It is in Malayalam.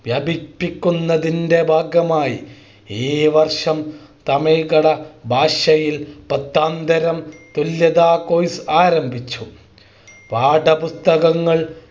വ്യാപിപ്പിക്കുന്നതിൻ്റെ ഭാഗമായി ഈ വർഷം തമിഴ് കന്നഡ ഭാഷയിൽ പത്താംതരം തുല്യതാ Course ആരംഭിച്ചു പാഠപുസ്തകങ്ങൾ